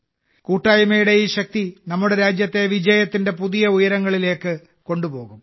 കൂട്ടായ്മയുടെ ഈ ശക്തി നമ്മുടെ രാജ്യത്തെ വിജയത്തിന്റെ പുതിയ ഉയരങ്ങളിലേക്ക് കൊണ്ടുപോകും